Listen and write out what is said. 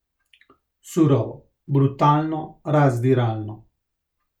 Surovo, brutalno, razdiralno.